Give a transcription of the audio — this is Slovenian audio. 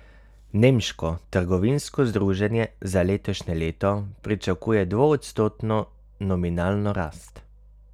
Nemško trgovinsko združenje za letošnje leto pričakuje dvoodstotno nominalno rast.